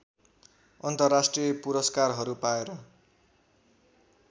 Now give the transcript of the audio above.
अन्तर्राष्ट्रिय पुरस्कारहरू पाएर